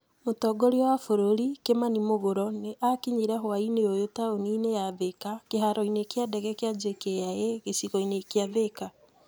Mũtongoria wa bũrũri Kimani muguro nĩ akinyire hwaĩinĩ ũyũ taũni-inĩ ya Thika kĩharo-inĩ kĩa ndege kĩa JKIA gĩcigo-inĩ kĩa Thika.